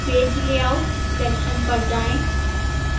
page layout section पर जाएं